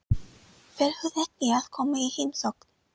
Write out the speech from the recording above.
Fer hún ekki að koma í heimsókn?